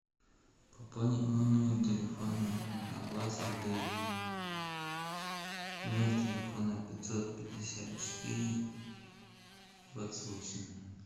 пополни мой номер телефона на двадцать рублей номер телефона пятьсот пятьдесят четыре двадцать восемь